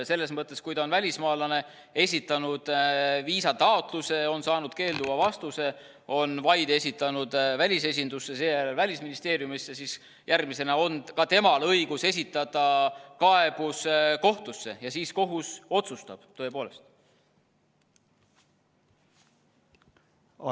Ja selles mõttes, kui ta on välismaalane, esitanud viisataotluse, on saanud eitava vastuse, on vaide esitanud välisesindusse, seejärel Välisministeeriumisse, siis järgmisena on ka temal õigus esitada kaebus kohtusse, ja siis kohus tõepoolest otsustab.